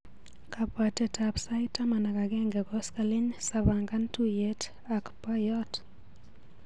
Kabwateab sait taman ak agenge koskoliny sapangan tuiyet ak boiyot.